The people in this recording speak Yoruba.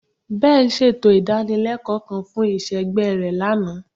Ben ṣeto idanileko kan fun iṣẹgbẹ rẹ lana